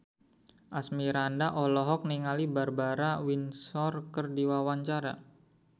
Asmirandah olohok ningali Barbara Windsor keur diwawancara